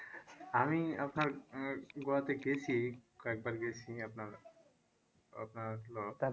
আমি আপনার আহ গোয়াতে গেছি কয়েকবার গেছি আপনার আপনার হলো